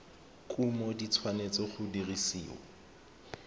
kumo di tshwanetse go dirisiwa